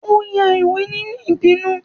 o ya ìwé ninú ibinú